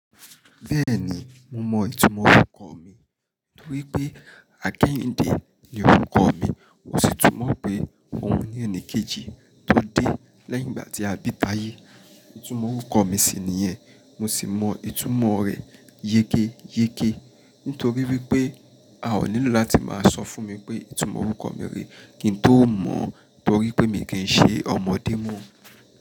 Bẹ́ẹ̀ni, mo mọ ìtumọ̀ orúkọ mi nítorí pé Àkẹ́yìndé ni orúkọ mi. O sí túmọ̀ pé ohun ní ẹnì kejì tó dé lẹ́yìn ìgbà tí a bí tayé. Ìtumọ̀ orúkọ mi sì ni yen. Mo sì mọ ìtumọ̀ rẹ̀ yékéyéké nítorí wípé a ò nílò láti máa sọ fún mi pé ìtumọ̀ orúkọ mi re kí ń tó mọ̀ torí pé mi kì í ṣe ọmọdé mọ́.